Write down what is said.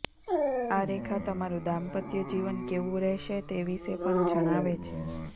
આ રેખા તમારું દાંપત્ય જીવન કેવું રહેશે તે વિશે પણ જણાવે છે